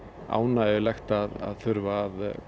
ánægjulegt að þurfa að